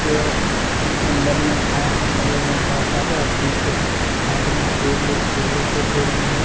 ये अंदर में घास लगे हुए हैं बहुत सारे और पीछे साइड में केले केले के पेड़ भी हैं।